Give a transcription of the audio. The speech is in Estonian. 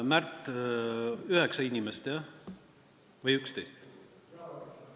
Märt, kas 9 inimest, jah, või 11?